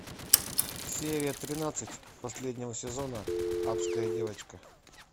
серия тринадцать последнего сезона адская девочка